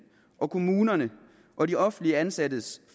kommunerne og de offentligt ansattes